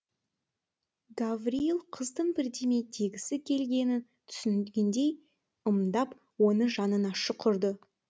гаврийл қыздың бірдеме дегісі келгенін түсінгендей ымдап оны жанына шұқырды